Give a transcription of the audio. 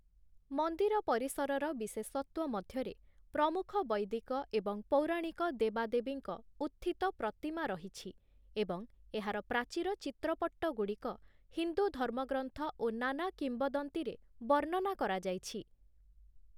ମନ୍ଦିର ପରିସରର ବିଶେଷତ୍ଵ ମଧ୍ୟରେ ପ୍ରମୁଖ ବୈଦିକ ଏବଂ ପୌରାଣିକ ଦେବା-ଦେବୀଙ୍କ ଉତ୍ଥିତ ପ୍ରତିମା ରହିଛି ଏବଂ ଏହାର ପ୍ରାଚୀର ଚିତ୍ରପଟ୍ଟଗୁଡ଼ିକ ହିନ୍ଦୁ ଧର୍ମଗ୍ରନ୍ଥ ଓ ନାନା କିମ୍ବଦନ୍ତୀ ରେ ବର୍ଣ୍ଣନା କରାଯାଇଛି ।